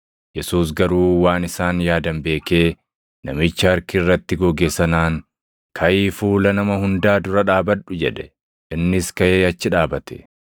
Yesuus garuu waan isaan yaadan beekee namicha harki irratti goge sanaan, “Kaʼii fuula nama hundaa dura dhaabadhu” jedhe. Innis kaʼee achi dhaabate.